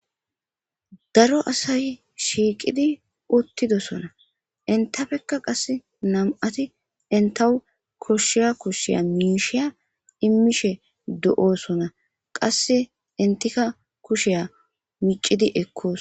daro asay shiiqidi uttidosona intafekka qass nam7ati intahu koshshiya kushshiya miishiya immishe do7oosona qasse intika kushiya micidi ekkoos